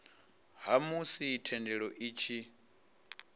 ha musi thendelo i tshi